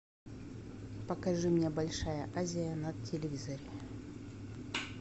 покажи мне большая азия на телевизоре